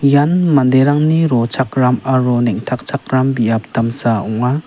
ian manderangni rochakram aro neng·takchakram biap damsa ong·a.